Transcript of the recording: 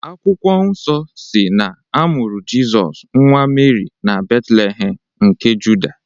Akwụkwọ nsọ si na-amụrụ Jịsọs, nwa Meri na Betlehem nke Juda.